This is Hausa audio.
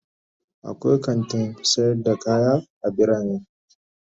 akwai kantin sayar da kaya a bitane.